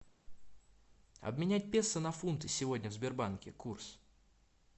обменять песо на фунты сегодня в сбербанке курс